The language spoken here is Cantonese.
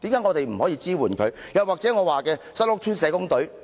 我的意見書也提到新屋邨社工隊。